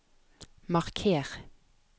marker